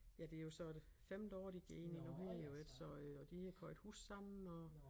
Ja det jo så det femte år de går ind i nu her jo ik så øh og de har købt hus sammen og